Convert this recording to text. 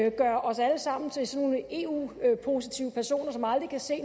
og gøre os alle sammen til eu positive personer som aldrig kan se